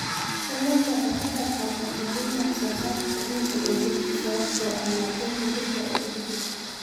Kalluunku waxa uu ka qaybqaataa kordhinta wax soo saarka dhiigga ee jidhka sababtoo ah macdanta birta ah ee ku jirta.